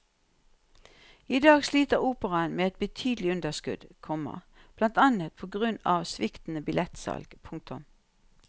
I dag sliter operaen med et betydelig underskudd, komma blant annet på grunn av sviktende billettsalg. punktum